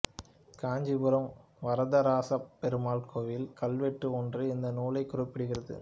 காஞ்சிபுரம் வரதராசப் பெருமாள் கோயில் கல்வெட்டு ஒன்று இந்த நூலைக் குறிப்பிடுகிறது